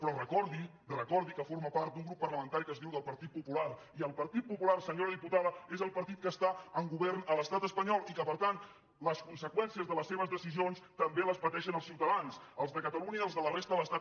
però recordi recordi que forma part d’un grup parlamentari que es diu del partit popular i el partit popular senyora diputada és el partit que està al govern a l’estat espanyol i que per tant les conseqüències de les seves decisions també les pateixen els ciutadans els de catalunya i els de la resta de l’estat